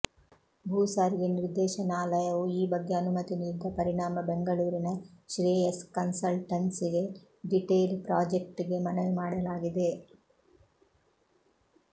ಭೂ ಸಾರಿಗೆ ನಿರ್ದೇಶನಾಲಯವು ಈ ಬಗ್ಗೆ ಅನುಮತಿ ನೀಡಿದ ಪರಿಣಾಮ ಬೆಂಗಳೂರಿನ ಶ್ರೇಯಸ್ ಕನ್ಸಲ್ಟನ್ಸಿಗೆ ಡಿಟೇಲ್ ಪ್ರಾಜೆಕ್ಟ್ಗೆ ಮನವಿ ಮಾಡಲಾಗಿದೆ